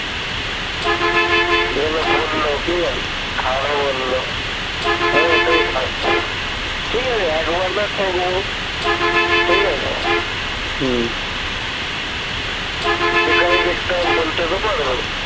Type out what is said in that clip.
খাওয়াবে বললো আমি ওটাই ঠিক আছে ঠিক আছে হম যেখানেই দেখতে পারবো বলতে তো পারবো